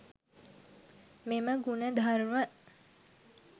මෙම ගුණධර්ම